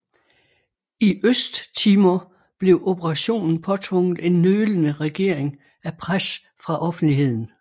I Østtimor blev operationen påtvunget en nølende regering af pres fra offentligheden